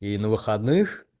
и на выходных